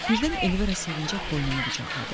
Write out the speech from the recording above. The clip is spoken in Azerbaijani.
Birdən Elvira sevincək boynumu qucaqladı.